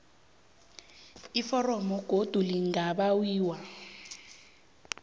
iforomo godu lingabawiwa